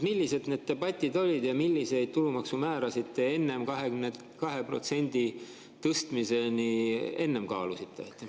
Millised need debatid olid ja milliseid tulumaksumäärasid te enne 22%-ni tõstmist kaalusite?